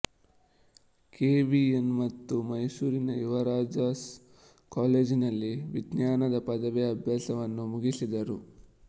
K V N ಮತ್ತೆ ಮೈಸೂರಿನ ಯುವರಾಜಾಸ್ ಕಾಲೇಜಿನಲ್ಲಿ ವಿಜ್ಞಾನದ ಪದವಿ ಅಭ್ಯಾಸವನ್ನು ಮುಗಿಸಿದರು